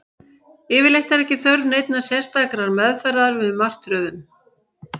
Yfirleitt er ekki þörf neinnar sérstakrar meðferðar við martröðum.